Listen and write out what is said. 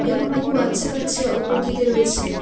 এবং বহু বাচ্চা কাচ্চা উপর দিকে রয়েছে।